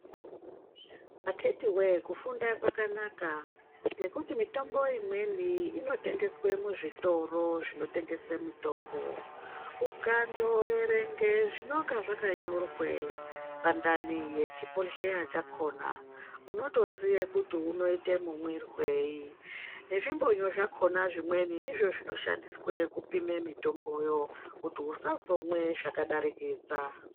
Akiti woye kufunda kwakanaka ngekuti mitombo imweni inotengeswe muzvitoro zvinotengese mitombo ukandoerenge zvinenge zvakanyora pandani pechibhohleya chakona unotoziye kuti unoite mumwirwei nezvimbonyo zvakona zvimweni ndizvo zvinoshandiswe kupime mitomboyo kuti usazomwe zvakadarikidza.